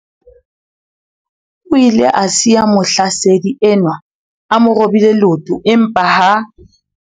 O ile a siya mohlasedi enwa a mo robile leoto empa ha